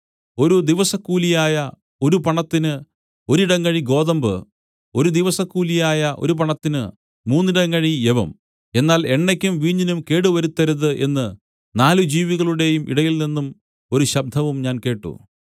ഒരു ദിവസക്കൂലിയായ ഒരു പണത്തിന് ഒരിടങ്ങഴി ഗോതമ്പു ഒരു ദിവസക്കൂലിയായ ഒരു പണത്തിന് മൂന്നിടങ്ങഴി യവം എന്നാൽ എണ്ണയ്ക്കും വീഞ്ഞിനും കേട് വരുത്തരുത് എന്നു നാല് ജീവികളുടെയും ഇടയിൽനിന്നും ഒരു ശബ്ദവും ഞാൻ കേട്ട്